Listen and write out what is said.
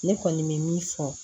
Ne kɔni bɛ min fɔ